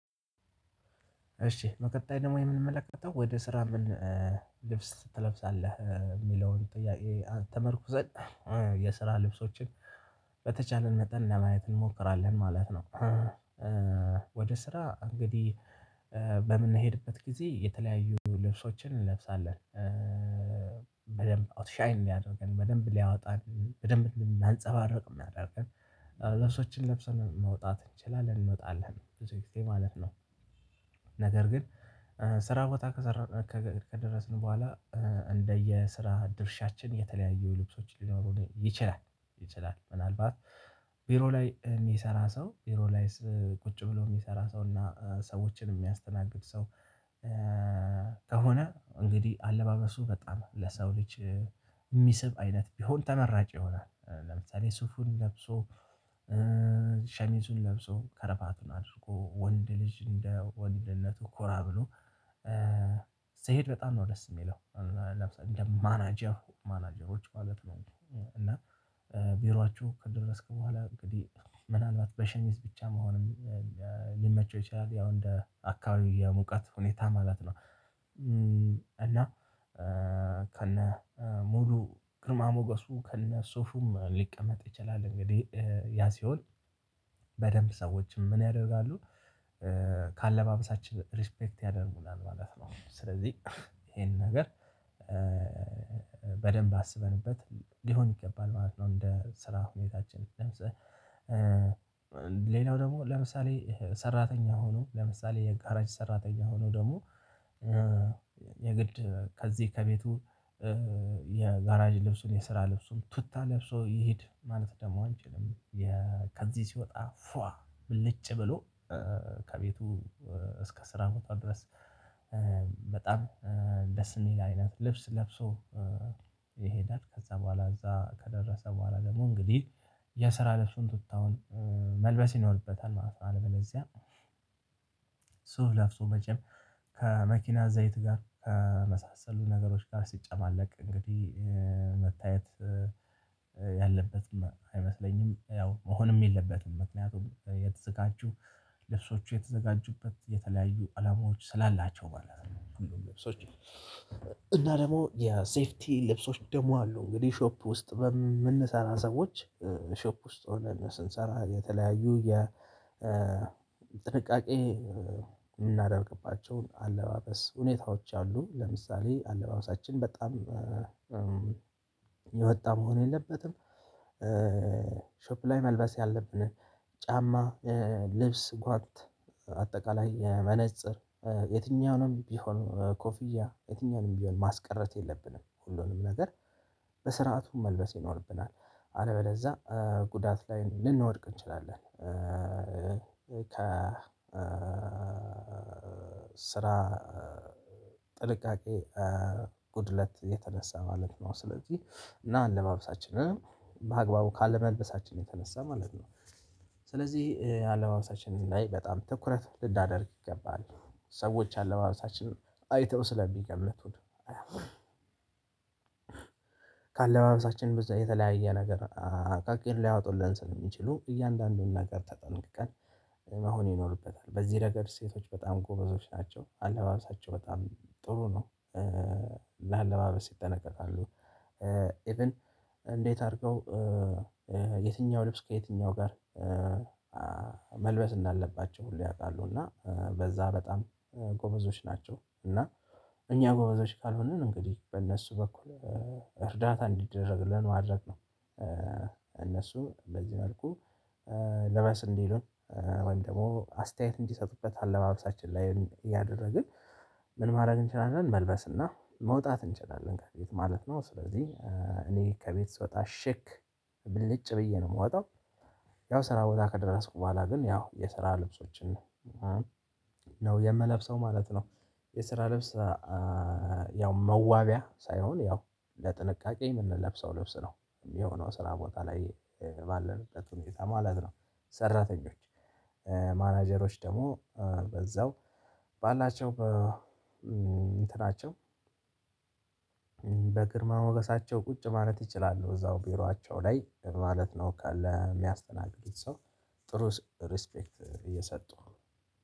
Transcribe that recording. እሺ በቀጣይ ደግሞ የምንመለከተው ወደ ስራ ምን ልብስ ትለብሳለህ የሚለውን ጥያቄ ተመርኩዘን የስራ ልብሶችን በተቻለን መጠን ለማየት እንሞክራለን ማለት ነው። ወደ ስራ እንግዲህ በምንሄድበት ጊዜ የተለያዩ ልብሶችን እንለብሳለን። በደንብ አውትሻይን ሊያደርገን በደንብ ሊያወጣን በደንብ ሊያንፀባርቅ የሚያደርገን ልብሶችን ለብሰን መውጣት እንችላለን እንወጣለን ብዙ የማለት ነው። ነገር ግን ስራ ቦታ ከሰራን ከደረስን በኋላ እንደየስራ ድርሻችን የተለያዩ ልብሶች ሊኖሩ ይችላል። ይችላል ምናልባት ቢሮ ላይ የሚሰራ ሰው ቢሮ ላይስ ቁጭ ብሎ የሚሰራ ሰው እና ሰዎችን የሚያስተናግድ ሰው። ከሆነ እንግዲህ አለባበሱ በጣም ለሰው ልጅ የሚስብ አይነት ቢሆን ተመራጭ ይሆናል። ለምሳሌ ስፉል ለብሶ ሸሚዙን ለብሶ ከረባቱን አድርጎ ወንድ ልጅ እንደ ወንድነቱ ኮራ ብሎ ስሄድ በጣም ነው ደስ የሚለው። ለምሳሌ እንደ ማናጀር ማናጀሮች ማለት ነው። እና ቢሮአችሁ ከደረስክ በኋላ እንግዲህ ምናልባት በሸሚዝ ብቻም መሆንም ሊመቸው ይችላል ያው እንደ አካባቢ የሙቀት ሁኔታ ማለት ነው። እና ከነ ሙሉ ግርማ ሞገሱ ከነ ሱፉም ሊቀመጥ ይችላል እንግዲህ ያ ሲሆን በደንብ ሰዎችም ምን ያደርጋሉ? ከአለባበሳችን ሪስፔክት ያደርጉናል ማለት ነው። ስለዚህ ይሄን ነገር በደንብ አስበንበት ሊሆን ይገባል ማለት ነው። እንደ ስራ ሁኔታችን ለምሳሌ ሌላው ደግሞ ለምሳሌ ሰራተኛ ሆኖ ለምሳሌ የጋራዥ ሰራተኛ ሆኖ ደግሞ የግድ ከዚህ ከቤቱ የጋራዥ ልብሱን የስራ ልብሱን ቱታ ለብሶ ይሄድ ማለት ደግሞ አንችልም። ከዚህ ሲወጣ ፏአ ብልጭ ብሎ ከቤቱ እስከ ስራ ቦታው ድረስ በጣም ደስ እንሂድ አይነት ልብስ ለብሶ። ይሄዳል ከዛ በኋላ እዛ ከደረሰ በኋላ ደግሞ እንግዲህ የስራ ልብሱን ቱታውን መልበስ ይኖርበታል ማለት ነው። አለበዚያ ሶፍ ለብሶም መቼም ከመኪና ዘይት ጋር ከመሳሰሉ ነገሮች ጋር ሲጨማለቅ እንግዲህ መታየት ያለበት አይመስለኝም ያው መሆንም የለበትም ምክንያቱም የተዘጋጁ ልብሶቹ የተዘጋጁበት የተለያዩ አላማዎች ስላላቸው ማለት ነው። እና ደግሞ የሴፍቲ ልብሶች ደግሞ አሉ እንግዲህ ሾፕ ውስጥ በምንሰራ ሰዎች ሾፕ ውስጥ ሆነን ስንሰራ የተለያዩ የ የጥንቃቄ የምናደርግባቸውን አለባበስ ሁኔታዎች አሉ። ለምሳሌ አለባበሳችን በጣም የወጣ መሆን የለበትም። ሾፕ ላይ መልበስ ያለብንን ጫማ ልብስ ጓንት አጠቃላይ መነፅር የትኛውንም ቢሆን ኮፍያ የትኛውንም ቢሆን ማስቀረት የለብንም ሁሉንም ነገር በስርዓቱም መልበስ ይኖርብናል አለበለዛ ጉዳት ላይ ልንወድቅ እንችላለን። ከ ስራ ጥንቃቄ ጉድለት የተነሳ ማለት ነው። ስለዚህ እና አለባበሳችንን በአግባቡ ካለመልበሳችን የተነሳ ማለት ነው። ስለዚህ አለባበሳችንን ላይ በጣም ትኩረት ልናደርግ ይገባል። ሰዎች አለባበሳችን አይተው ስለሚገምቱን። ካለባበሳችን የተለያየ ነገር አቃቂር ሊያወጡልን ስለሚችሉ እያንዳንዱን ነገር ተጠንቅቀን መሆን ይኖርበታል በዚህ ረገድ ሴቶች በጣም ጎበዞች ናቸው። አለባበሳቸው በጣም ጥሩ ነው። ለአለባበስ ይጠነቀቃሉ። እንዴት አድርገው የትኛው ልብስ ከየትኛው ጋር መልበስ እንዳለባቸው ሁሉ ያውቃሉ። እና በዛ በጣም ጎበዞች ናቸው። እና እኛ ጎበዞች ካልሆንን እንግዲህ በእነሱ በኩል እርዳታ እንዲደረግልን ማድረግ ነው። እነሱ በዚህ መልኩ ልበስ እንዲሉን ወይም ደግሞ አስተያየት እንዲሰጡበት አለባበሳችን ላይ ያደረግን ምን ማድረግ እንችላለን? መልበስ እና መውጣት እንችላለን ከየቤት ማለት ነው። ስለዚህ እኔ ከቤት ስወጣ ሼክ ብልጭ ብዬ ነው የምወጣው። ያው ስራ ቦታ ከደረስኩ በኋላ ግን ያው የስራ ልብሶችን ነው የምለብሰው ማለት ነው። የስራ ልብስ ያው መዋቢያ ሳይሆን ያው ለጥንቃቄ የምንለብሰው ልብስ ነው። የሆነው ስራ ቦታ ላይ ባለንበት ሁኔታ ማለት ነው። ሰራተኞች ማናጀሮች ደግሞ በዛው ባላቸው እንትናቸው በግርማ ሞገሳቸው ቁጭ ማለት እችላለሁ እዛው ቢሮአቸው ላይ ለማለት ነው ካለ የሚያስተናግዱት ሰው ጥሩ ሪስፔክት እየሰጡ